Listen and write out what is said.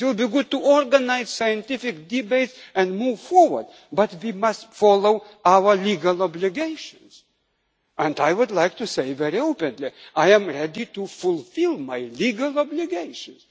discussions. It would be good to organise scientific debates and move forward, but we must follow our legal obligations, and I would like to say very openly that I am ready to fulfil my legal